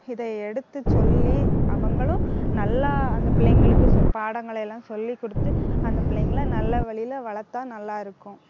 இதை எடுத்துச் சொல்லி, அவங்களும் நல்லா அந்த பிள்ளைங்களுக்கு சொல்~ பாடங்களை எல்லாம் சொல்லிக் கொடுத்து அந்த பிள்ளைங்களை நல்ல வழியில வளர்த்தா நல்லா இருக்கும்